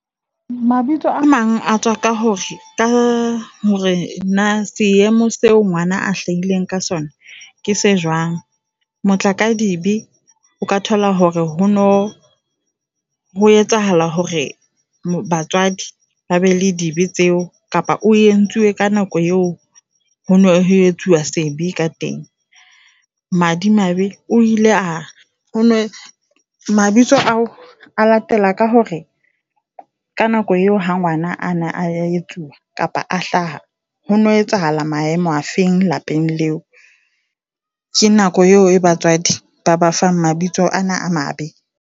Mabitso a mang a tswa ka hore ka hore na seemo seo ngwana a hlahileng ka sona ke se jwang. Matlakadibe, o ka thola hore ho no ho etsahala hore batswadi ba be le di be tseo kapa o entswe ka nako eo hono etsuwa sebe ka teng. Madimabe o ile a hone mabitso ao a latela ka hore ka nako eo ha ngwana ana a etsuwa kapa a hlaha, hone ho etsahala maemo a feng lapeng leo. Ke nako eo e batswadi ba ba fang mabitso ana a mabe.